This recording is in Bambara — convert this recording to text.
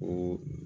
O